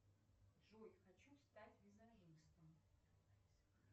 джой хочу стать визажистом